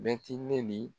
Bɛti ne ni